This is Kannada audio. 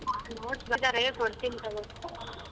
ಹಾ notes ಬರ್ಸಿದಾರೆ ಕೊಡ್ತಿನ್ ತಗೋ.